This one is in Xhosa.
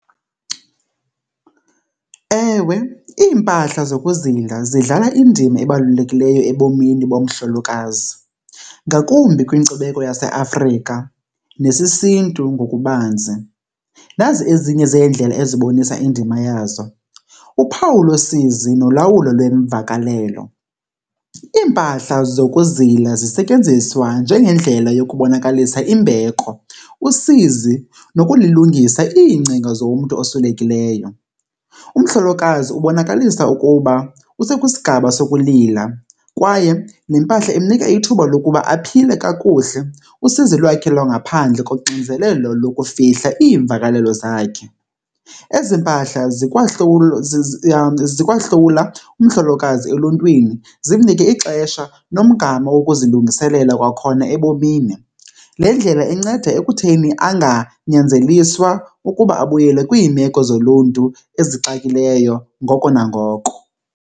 Ewe, iimpahla zokuzila zidlala indima ebalulekileyo ebomini bomhlolokazi, ngakumbi kwinkcubeko yaseAfrika nesisiNtu ngokubanzi. Nazi ezinye zeendlela ezibonisa indima yazo. Uphawu losizi nolawulo lweemvakalelo, iimpahla zokuzila zisetyenziswa njengendlela yokubonakalisa imbeko usizi nokulilungisa iingcinga zomntu oswelekileyo. Umhlolokazi ubonakalisa ukuba use kwisigaba sokulila kwaye le mpahla imnika ithuba lokuba aphile kakuhle usizi lwakhe lwangaphandle koxinzelelo lokufihla iimvakalelo zakhe. Ezi mpahla zikwahlula umhlolokazi eluntwini zimnike ixesha nomgama wokuzilungiselela kwakhona ebomini. Le ndlela inceda ekutheni anganyanzeliswa ukuba abuyele kwiimeko zoluntu ezixakileyo ngoko nangoko.